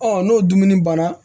Ɔ n'o dumuni banna